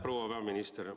Proua peaminister!